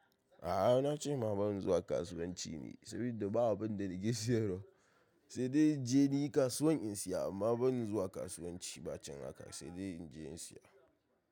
A'a na ce ma ban zuwa kasuwanci ne, saboda babu abin da nake siyarwa, sai dai je ni kasuwan in siya amma ban zuwa kasuwanci ba can haka sai dai in je in siya.